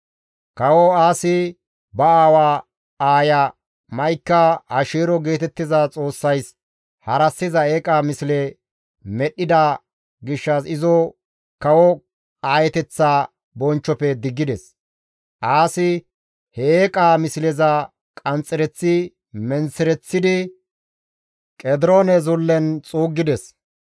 Kawo Aasi ba aawa aaya Ma7ika Asheero geetettiza xoossays harassiza eeqa misle medhdhida gishshas izo kawo aayeteththa bonchchofe diggides. Aasi he eeqaa misleza qanxxereththi menththereththidi, Qediroone Zullen xuuggides.